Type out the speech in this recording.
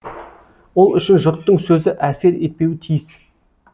ол үшін жұрттың сөзі әсер етпеуі тиіс